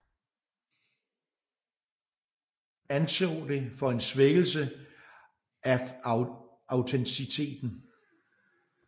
Hun anså det for en svækkelse af autenciteten